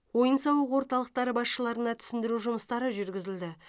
ойын сауық орталықтары басшыларына түсіндіру жұмыстары жүргізілді